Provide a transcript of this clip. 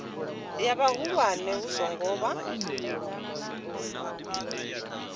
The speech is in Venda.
ya vhahulwane hu songo vha